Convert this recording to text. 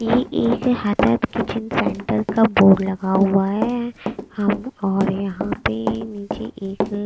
ये एक kitchen centre का बोर्ड लगा हुआ है हम और यहाँ पे नीचे एक अअ--